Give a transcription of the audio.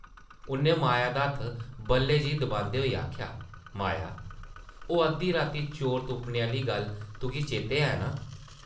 उʼन्नै माया दा हत्थ बल्लै जेही दबांदे होई आखेआ, ‘‘माया, ओह् अद्धी राती चोर तुप्पने आह्ली गल्ल तुगी चेतै ऐ नां?’’